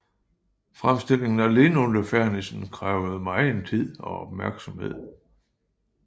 Fremstillingen af linoliefernissen krævede megen tid og opmærksomhed